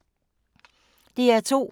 DR2